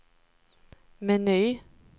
meny